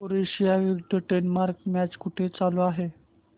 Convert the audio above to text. Croatia विरुद्ध Denmark match कुठे चालू आहे